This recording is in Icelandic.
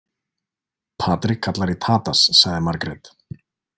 Patrik kallar í Tadas, sagði Margét.